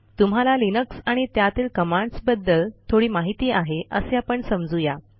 तुम्हाला लिनक्स आणि त्यातील कमांडसबद्दल थोडी माहिती आहे असे आपण समजू या